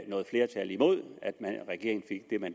noget flertal imod